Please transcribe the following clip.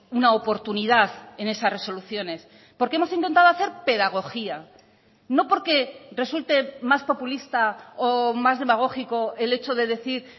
una oportunidad en esas resoluciones porque hemos intentado hacer pedagogía no porque resulte más populista o más demagógico el hecho de decir